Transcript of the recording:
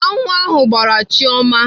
Aṅụ ahụ gbraa Chioma.